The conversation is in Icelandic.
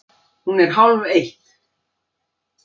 Hún er hálfeitt!